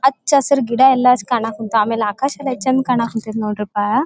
ಅಚ್ಚ್ ಹಸೀರ್ ಗಿಡಯಲ್ಲ ಕಾಣಕುಂತಾಯ್ತೆ ಆಮೇಲೆ ಆಕಾಶ ಯೆಸ್ಟ್ ಚಂದ್ ಕಾಣಕುಂತಾಯ್ತೆ ನೊಡ್ರಿಪ.